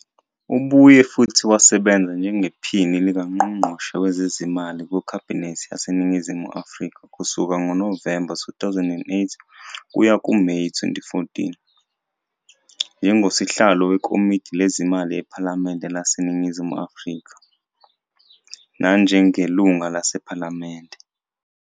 Ubuye futhi wasebenza njengePhini likaNgqongqoshe Wezezimali kuKhabinethi yaseNingizimu Afrika kusuka ngoNovemba 2008 kuya kuMeyi 2014, njengosihlalo weKomidi Lezimali ePhalamende laseNingizimu Afrika, nanjengeLungu lePhalamende